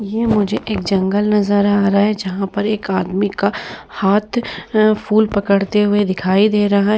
ये मुझे एक जंगल नजर आ रहा है जहाँ पर एक आदमी का हाथ अ फूल पकड़ते हुए दिखाई दे रहा है।